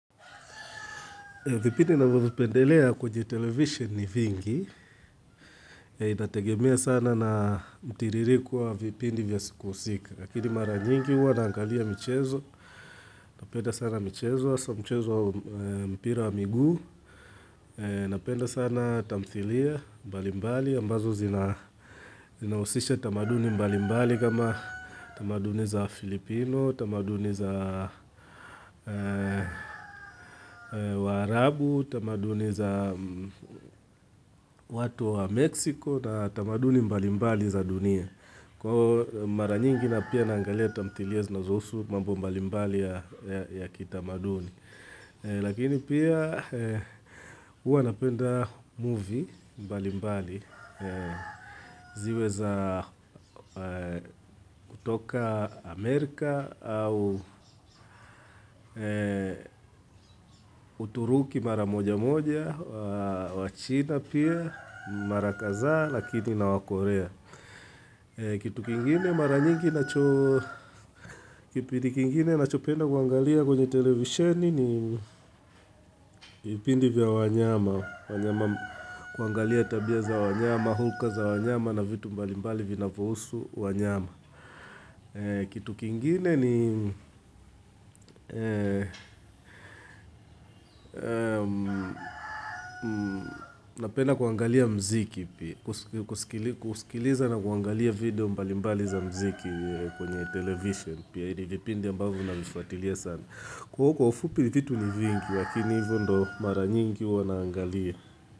Vipindi navyo vipendelea kwenye television ni vingi. Itategemea sana na mtiririko wa vipindi vya siku husika. Lakini mara nyingi huwa naangalia michezo. Napenda sana michezo, hasa michezo wa mpira wa miguu. Napenda sana tamthilia mbali mbali. Ambazo zina zinahusisha tamaduni mbali mbali kama tamaduni za Filipino, tamaduni za waarabu, tamaduni za watu wa Mexico na tamaduni mbalimbali za dunia. Kwa mara nyingi na pia naangalia tamthilia zinazohusu mambo mbalimbali ya kitamaduni. Lakini pia huwa napenda movie mbali mbali ziwe za kutoka Amerika au uturuki mara moja moja, wachina pia mara kazaa lakini na wakorea. Kitu kingine mara nyingi nacho kipindi kingine nacho penda kuangalia kwenye televisheni ni vipindi vya wanyama kuangalia tabia za wanyama, hulka za wanyama na vitu mbalimbali vinavohusu wanyama Kitu kingine ni napenda kuangalia mziki pia kusikiliza na kuangalia video mbalimbali za mziki kwenye television pia hii ni vipindi ambavo navifatilia sana kwa huo kwa ufupi vitu ni vingi lakini hivo ndo mara nyingi huwa naangalia.